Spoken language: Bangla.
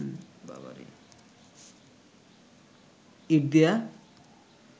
ইঁট দিয়া